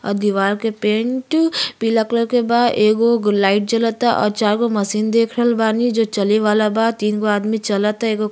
और दीवार के पेंट पीला कलर के बा एगो लाइट जलता और चार जो मशीन देख रहल बानी जो चले वाला बा तीन गो आदमी चलता --